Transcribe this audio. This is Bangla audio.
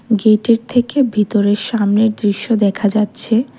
গেটের থেকে ভিতরে সামনের দৃশ্য দেখা যাচ্ছে।